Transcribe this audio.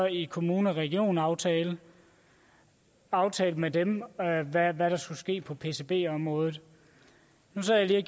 en kommune og regionaftale aftalte med dem hvad hvad der skulle ske på pcb området nu sad jeg